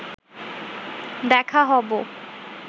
দেখা হব